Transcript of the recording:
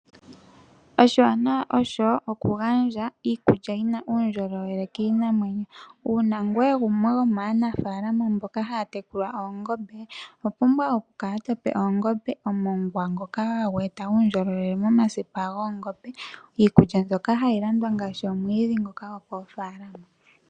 Oshiwanawa osho oku gandja iikulya yina uundjolowele kiinamwenyo. Uuna ngoye wuli gumwe gwomaanafalama mbono haya tekula oongombe owa pumbwa oku kala todhi pe omongwa ngoka hagu gandja uundjolowele momasipa goongombe noshowo iikulya mboka hayi landwa ngaashi omwiidhi gwokoofalama.